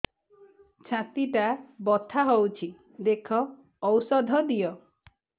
ଛାତି ଟା ବଥା ହଉଚି ଦେଖ ଔଷଧ ଦିଅ